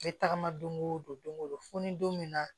N bɛ tagama don o don don go don fo ni don min na